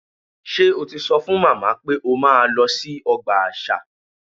Ṣé o ti sọ fún màmá pé o máa lọ sí ọgbà àṣà?